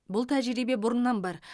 бұл тәжірибе бұрыннан бар